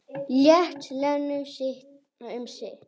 Lét Lenu um sitt.